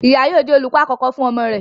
Ìyá yóò jẹ́ olùkọ àkọ́kọ́ fún ọmọ rẹ̀.